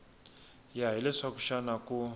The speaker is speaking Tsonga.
ya hi leswaku xana ku